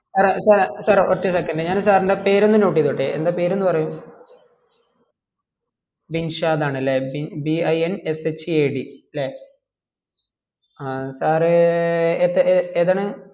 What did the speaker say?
sir sir sir ഒറ്റ second ഞാൻ sir ൻ്റെ പേര് ഒന്ന് note ചെയ്തോട്ടെ എന്താ പേര് ഒന്ന് പറയുവോ ബിൻഷാദ് ആൺലേ B I N S H A D അല്ലെ ആ sir റ് എത്ര ഏതാണ്